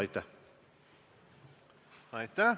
Aitäh!